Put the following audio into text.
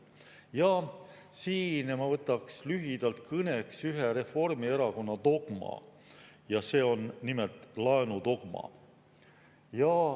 Ja siin ma võtaks lühidalt kõneks ühe Reformierakonna dogma ja see on nimelt laenudogma.